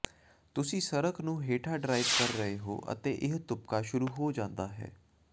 ਤੁਸੀਂ ਸੜਕ ਨੂੰ ਹੇਠਾਂ ਡ੍ਰਾਈਵ ਕਰ ਰਹੇ ਹੋ ਅਤੇ ਇਹ ਤੁਪਕਾ ਸ਼ੁਰੂ ਹੋ ਜਾਂਦਾ ਹੈ